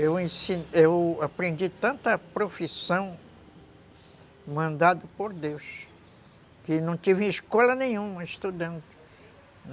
Eu aprendi tanta profissão mandada por Deus, que não tive escola nenhuma estudando.